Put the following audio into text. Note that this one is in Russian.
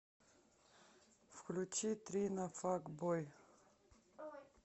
включи трина фак бой